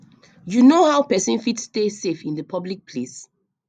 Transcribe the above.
you know how pesin fit stay safe in di public place